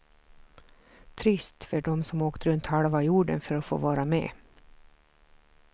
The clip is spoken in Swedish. Trist för de som åkt runt halva jorden för att få vara med.